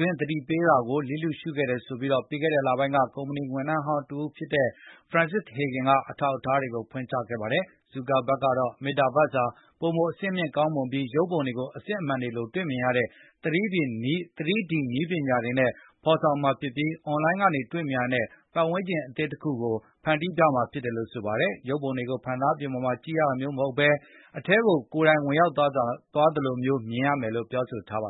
တွင်း သတိပေးမှုတွေကို လစ်လျှရှုခဲ့တယ်ဆိုပြီးပြီးခဲ့တဲ့ လပိုင်းက ကုမ္ပဏီဝန်ထမ်းဟောင်းတဦးဖြစ်တဲ့ Frances Haugen က အထောက်အထားတွေကို ဖွင့်ချခဲ့ပါတယ်။ ဇူကာဘတ်ကတော့ Metaverse ဟာ ပိုမိုအဆင့်မြင့်ကောင်းမွန်ပြီး ရုပ်ပုံတွေကို အစစ်အမှန်တွေလိုမြင်တွေ့ရမယ့် 3D နည်းပညာ တွေနဲ့ဖေါ်ဆောင်မှာဖြစ်ပြီး အွန်လိုင်းကတွေမြင်နိုင်တဲ့ပတ်ဝန်းကျင်တခုကို ဖန်တီးပြမှာဖြစ်တယ်လို့ဆိုပါတယ်။ ရုပ်ပုံတွေကို ဖန်သားပြင်ပေါ်မှာ ကြည့်နေရတာမျိုး မဟုတ်ဘဲ၊ အဲဒီ အထဲကို သင်ကိုယ်တိုင်ဝင်ရောက်သွားသလိုမျိုးတွေ့မြင်ရမယ်လို့ပြောဆိုထားပါတယ်